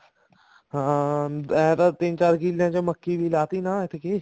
ਹਾਂ ਐਂ ਤਾਂ ਤਿੰਨ ਚਾਰ ਕਿੱਲਿਆਂ ਚ ਮੱਕੀ ਵੀ ਲਾਤੀ ਐਤਕੀ